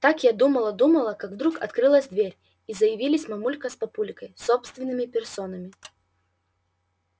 так я думала-думала как вдруг открылась дверь и заявились мамулька с папулькой собственными персонами